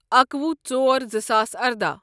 اکوُہ ژور زٕ ساس ارداہ